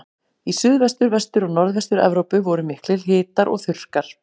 Í Suðvestur-, Vestur- og Norðvestur-Evrópu voru miklir hitar og þurrkar.